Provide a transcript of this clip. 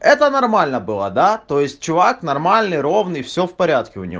это нормально было да то есть чувак нормальный ровный всё в порядке у него